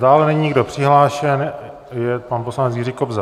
Dále není nikdo přihlášen... je, pan poslanec Jiří Kobza.